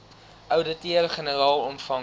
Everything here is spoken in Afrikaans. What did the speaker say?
ouditeur generaal ontvang